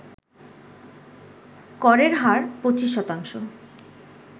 করের হার ২৫ শতাংশ